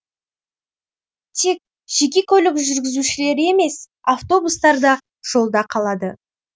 тек жеке көлік жүргізушілері емес автобустар да жолда қалады